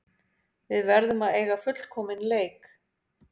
Við verðum að eiga fullkominn leik